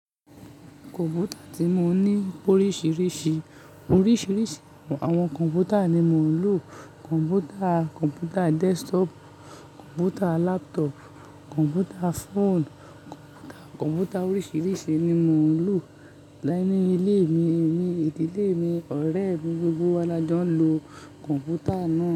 Kọ̀m̀pútà tí mo ní oríṣìíríṣìí. Oríṣìíríṣìí àwọn kọ̀m̀pútà ni mo ń lò. Kọ̀m̀pútà, kọ̀m̀pútà desktop, kọ̀m̀pútà laptop, kọ̀m̀pútà phone, kọ̀m̀pútà, kọ̀m̀pútà oríṣìíríṣìí ni mò ń lò. Láìní ilé mi, ní ìdílé mi, ọ̀rẹ́ gbogbogbò wá la jọ ń lo kọ̀m̀pútà náà.